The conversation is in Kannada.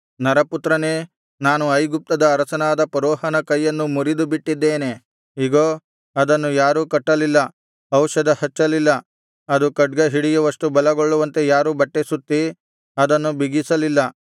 ನರಪುತ್ರನೇ ನಾನು ಐಗುಪ್ತದ ಅರಸನಾದ ಫರೋಹನ ಕೈಯನ್ನು ಮುರಿದುಬಿಟ್ಟಿದ್ದೇನೆ ಇಗೋ ಅದನ್ನು ಯಾರೂ ಕಟ್ಟಲಿಲ್ಲ ಔಷಧ ಹಚ್ಚಲಿಲ್ಲ ಅದು ಖಡ್ಗ ಹಿಡಿಯುವಷ್ಟು ಬಲಗೊಳ್ಳುವಂತೆ ಯಾರೂ ಬಟ್ಟೆ ಸುತ್ತಿ ಅದನ್ನು ಬಿಗಿಸಲಿಲ್ಲ